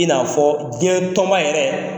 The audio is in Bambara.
I n'a fɔ diɲɛtɔnba yɛrɛ,